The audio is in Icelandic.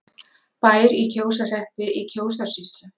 Bær í Kjósarhreppi í Kjósarsýslu.